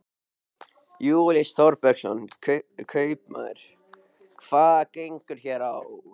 Júlíus Þorbergsson, kaupmaður: Hvað gengur hér á?